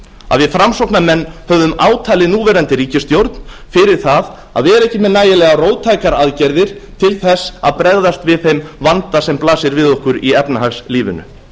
að við framsóknarmenn höfum átalið núverandi ríkisstjórn fyrir það að vera ekki með nægilega róttækar aðgerðir til þess að bregðast við þeim vanda sem blasir við okkur í efnahagslífinu